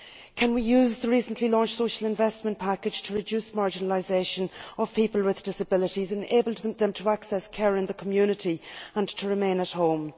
Can we use the recently launched Social Investment Package to reduce marginalisation of people with disabilities, enabling them to access care in the community and to remain at home?